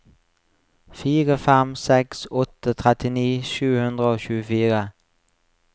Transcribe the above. fire fem seks åtte trettini sju hundre og tjuefire